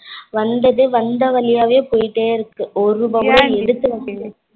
வந்தது வந்த வழியாக போய்க்கிட்டே இருக்கு. ஒரு ரூபா கூட எடுக்கல